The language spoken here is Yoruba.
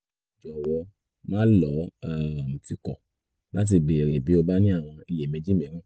jọ̀wọ́ máà lọ́ um tìkọ̀ láti béèrè bí o bá ní àwọn iyèméjì mìíràn